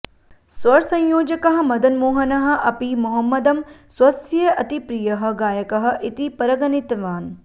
स्वरसंयोजकः मदनमोहनः अपि मोहम्मदं स्वस्य अतिप्रियः गायकः इति परिगणितवान्